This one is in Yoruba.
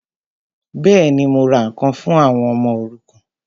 Bẹ́ẹ̀ni, mo ra ǹkan fún àwọn ọmọ òrukàn